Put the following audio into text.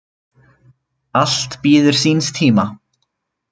Allt bíður síns tíma.